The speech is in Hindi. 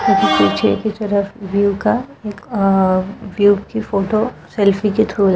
पीछे की तरफ व्यू का एक अ व्यू की फोटो सेल्फी की थ्रू --